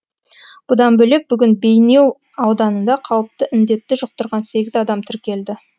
бұдан бөлек бүгін бейнеу ауданында қауіпті індетті жұқтырған сегіз адам тіркелді